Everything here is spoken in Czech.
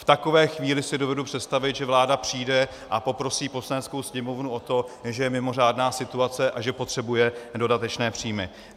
V takové chvíli si dovedu představit, že vláda přijde a poprosí Poslaneckou sněmovnu o to, že je mimořádná situace a že potřebuje dodatečné příjmy.